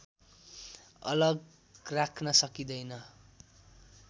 अलग राख्न सकिँदैन